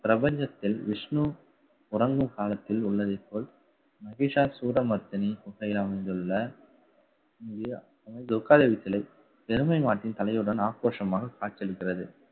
பிரபஞ்சத்தில், விஷ்ணு உறங்கும் காலத்தில் உள்ளதை போல் மகிஷாசூரமர்த்தினி அமைந்துள்ள எருமை மாட்டின் தலையுடன் ஆக்ரோஷமாக காட்சியளிக்கிறது